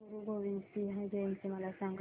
गुरु गोविंद सिंग जयंती मला सांगा